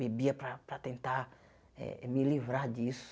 Bebia para para tentar eh me livrar disso.